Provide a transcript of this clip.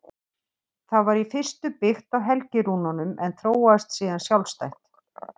Það var í fyrstu byggt á helgirúnunum en þróaðist síðan sjálfstætt.